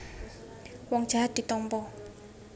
Wong jahat ditampa